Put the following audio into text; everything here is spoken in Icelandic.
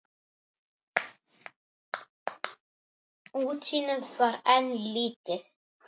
Útsýnið var enn lítið.